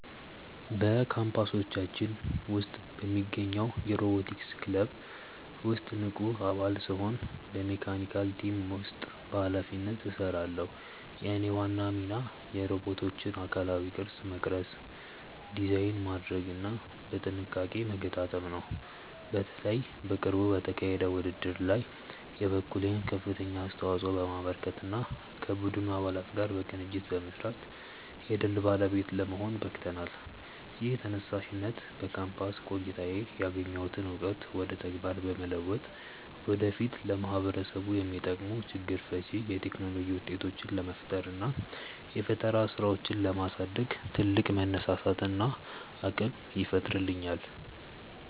በካምፓሳችን ውስጥ በሚገኘው የሮቦቲክስ ክለብ ውስጥ ንቁ አባል ስሆን በመካኒካል ቲም ውስጥ በኃላፊነት እሰራለሁ። የእኔ ዋና ሚና የሮቦቶቹን አካላዊ ቅርጽ መቅረጽ፣ ዲዛይን ማድረግና በጥንቃቄ መገጣጠም ነው። በተለይ በቅርቡ በተካሄደው ውድድር ላይ የበኩሌን ከፍተኛ አስተዋጽኦ በማበርከትና ከቡድን አባላት ጋር በቅንጅት በመስራት የድል ባለቤት ለመሆን በቅተናል። ይህ ተነሳሽነት በካምፓስ ቆይታዬ ያገኘሁትን እውቀት ወደ ተግባር በመለወጥ ወደፊት ለማህበረሰቡ የሚጠቅሙ ችግር ፈቺ የቴክኖሎጂ ውጤቶችን ለመፍጠርና የፈጠራ ስራዎችን ለማሳደግ ትልቅ መነሳሳትንና አቅምን ይፈጥርልኛል።